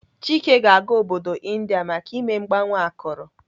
Chike ga-aga obodo India maka ime mgbanwe akụrụ.